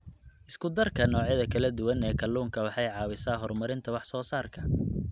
Isku darka noocyada kala duwan ee kalluunka waxay caawisaa horumarinta wax soo saarka.